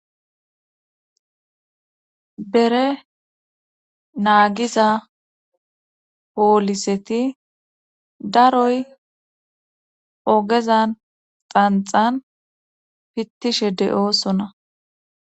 bere naagiza pooliseti daroy ogezan xanxan pittishe de7oosona